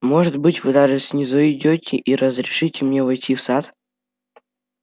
может быть вы даже снизойдёте и разрешите мне войти в сад